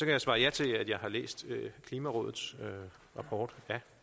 jeg svare ja til at jeg har læst klimarådets rapport